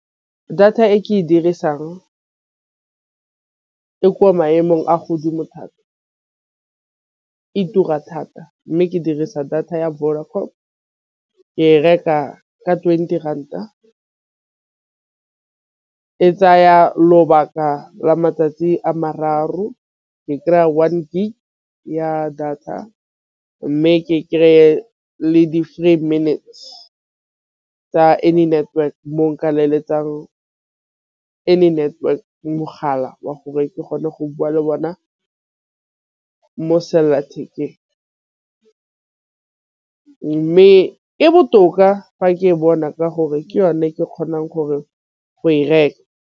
Data e ke e dirisang e ko maemong a godimo thata e tura thata. Mme ke dirisa data ya Vodacom ke e reka ka twenty ranta e tsaya lobaka la matsatsi a mararo. Ke kry-a one gig ya data mme ke kry-e le di-free minutes tsa any network mo nka any network mogala wa gore ke gone go bua le bona mo selelathekeng mme e botoka fa ke e bona ka gore ke yone ke kgonang gore .